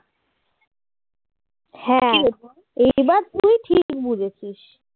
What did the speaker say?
হ্যাঁ এইবার তুই ঠিক বুঝেছিস